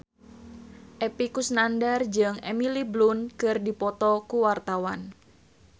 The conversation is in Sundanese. Epy Kusnandar jeung Emily Blunt keur dipoto ku wartawan